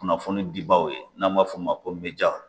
Kunnafoni dibaw ye n'an b'a f'o ma ko meja